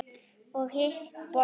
Og hitt borðið?